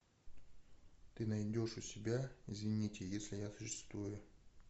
ты найдешь у тебя извините если я существую